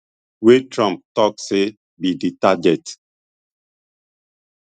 wey trump tok say be di target